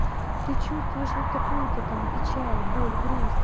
ты чувствуешь вот такую-то там печаль боль грусть